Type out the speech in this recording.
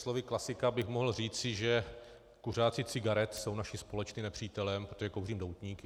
Slovy klasika bych mohl říci, že kuřáci cigaret jsou naším společným nepřítelem, protože kouřím doutníky.